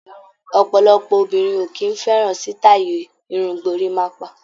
Ọ̀pọ̀lọpọ̀ obìnrin ò kì í fẹ́ràn sítáì irun gorímápá.